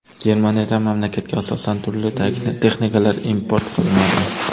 Germaniyadan mamlakatga asosan turli texnikalar import qilinadi.